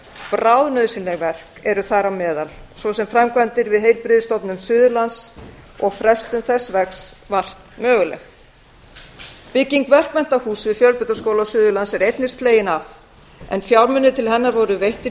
bráðnauðsynleg verk eru þar á meðal svo sem framkvæmdir við heilbrigðisstofnun suðurlands þar sem lagnir eru nýta í þeim hluta hússins sem þarfnast endurbóta og frestun verksins vart möguleg bygging verkmenntahúss við fjölbrautaskóla suðurlands er einnig slegin af en fjármunir til hennar voru veittir